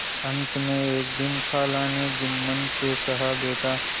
अंत में एक दिन खाला ने जुम्मन से कहाबेटा